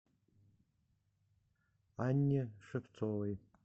анне шевцовой